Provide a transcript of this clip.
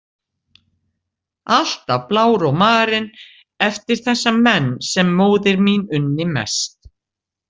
Alltaf blár og marinn eftir þessa menn sem móðir mín unni mest.